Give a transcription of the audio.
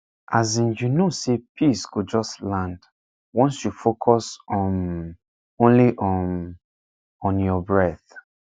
as in you know say peace go just land once you focus um only um on your breath